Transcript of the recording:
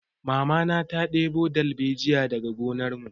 Mamana ta ɗebo dalbejiya daga gonar mu